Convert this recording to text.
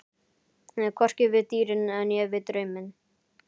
Hvorki við dýrin né við drauminn.